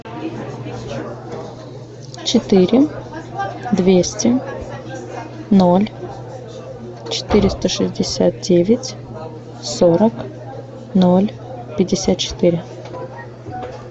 четыре двести ноль четыреста шестьдесят девять сорок ноль пятьдесят четыре